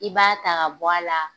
I b'a ta k'a bɔ a la